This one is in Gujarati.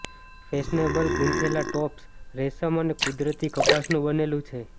ફેશનેબલ ગૂંથેલા ટોપ્સ રેશમ અને કુદરતી કપાસનું બનેલું છે